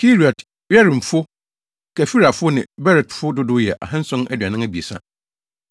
Kiriat-Yearimfo, Kefirafo ne Beerotfo dodow yɛ 2 743 1